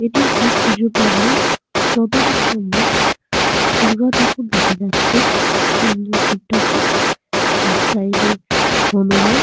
এটি একটি পুজো প্যান্ডেল। যতদূর সম্ভব দূর্গা ঠাকুর দেখা যাচ্ছে সামনে শিব ঠাকুর। এক সাইড এ হনুমান।